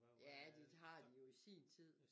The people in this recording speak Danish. Ja det har de jo i sin tid